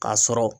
K'a sɔrɔ